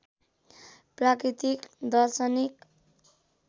प्राकृतिक दर्शनिक